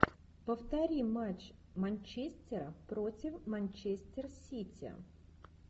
повтори матч манчестера против манчестер сити